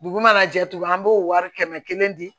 Dugu mana jɛ tugun an b'o wari kɛmɛ kelen di